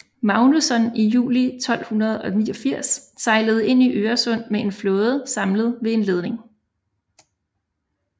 Magnusson i juli 1289 sejlede ind i Øresund med en flåde samlet ved en leding